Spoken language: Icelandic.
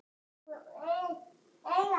Raunin hafi hins vegar önnur.